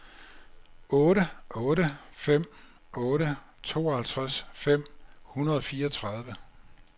otte otte fem otte tooghalvtreds fem hundrede og fireogtredive